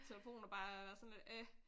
Telefon der bare er sådan lidt æh